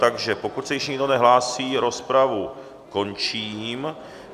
Takže pokud se již nikdo nehlásí, rozpravu končím.